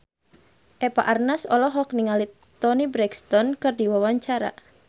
Eva Arnaz olohok ningali Toni Brexton keur diwawancara